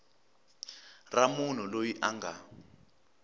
ra munhu loyi a nga